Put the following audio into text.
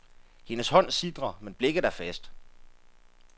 Hendes hånd sitrer, men blikket er fast.